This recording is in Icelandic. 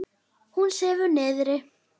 Hún sefur niðri.